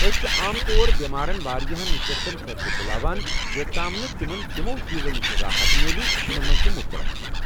أسۍ چھ عام طور بٮ۪مارَن واریاہن نِشستن خٲطرٕ بُلاوان یوٚتام نہٕ تمن تِمو چیزو نِشہِ راحت میلہِ یمن منٛز تم مبتلا چھ ۔